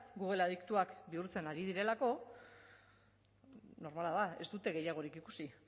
google adiktuak bihurtzen ari direlako normala da ez dute gehiagorik ikusi